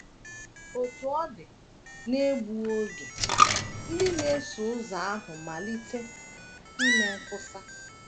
Otú ọ dị, n’egbu oge, ndị na - eso ụzọ ahụ malite ime nkwusa.